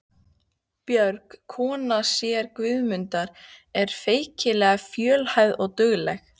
Björg, kona séra Guðmundar, var feikilega fjölhæf og dugleg.